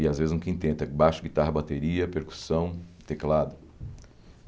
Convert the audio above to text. E às vezes um quinteto, é baixo, guitarra, bateria, percussão, teclado.